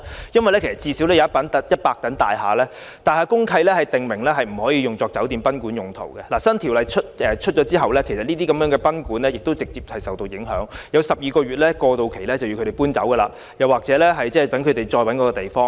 因為至少有100幢大廈的公契訂明禁止處所用作酒店或賓館用途，當新條例實施後，位於這些大廈內的賓館會直接受影響，只有12個月搬遷過渡期讓他們另覓地方。